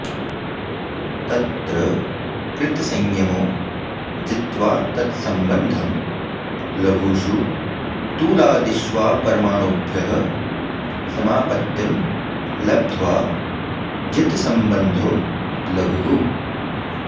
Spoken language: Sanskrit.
तत्र कृतसंयमो जित्वा तत्सम्बन्धं लघुषु तूलादिष्वापरमाणुभ्यः समापत्तिं लब्ध्वा जितसम्बन्धो लघुः